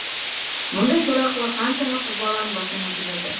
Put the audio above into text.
мұндай сорақылық қаншама қыз баланың басынан өтіп жатыр